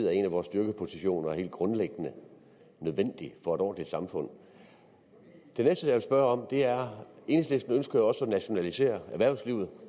er en af vores styrkepositioner og er helt grundlæggende nødvendigt for et ordentligt samfund det næste jeg vil spørge om er enhedslisten også at nationalisere erhvervslivet